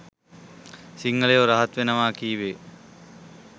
සිංහලයෝ රහත් වෙනවා කීවේ